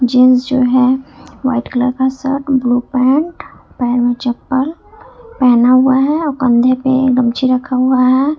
Gents जो है white colour का शर्ट ब्लू पैंट पैर में चप्पल पहना हुआ है और कंधे पे गमछी रखा हुआ है।